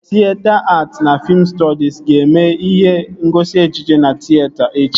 Tịyeta att na fiim stọdis ga-eme ihe ngosi ejije na tịyeta echi